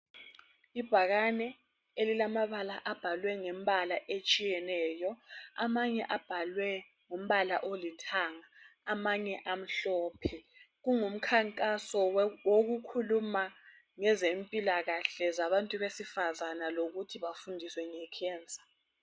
ibhakane elilamabala abhalwe ngemibal etshiyeneyo amanye abhlw ngombala olithanga amanye amhlophe kungumkhankaso wokukhuluma ngezempilakahle zabantu besivazana lokuthi befundiswe nge cancer